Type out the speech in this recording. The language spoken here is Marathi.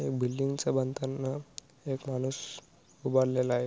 या बिल्डिंग च बांधताना एक माणूस उभारलेला आहे.